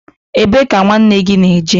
Ebe ka nwanne gị na-eje?